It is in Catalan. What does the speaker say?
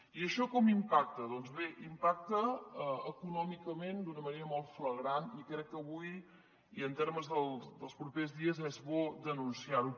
i això com impac·ta doncs bé impacta econòmicament d’una manera molt flagrant i crec que avui i en termes dels propers dies és bo denunciar·ho